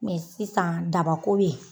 Mɛ sisan dabako be ye